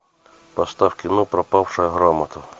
поставь кино пропавшая грамота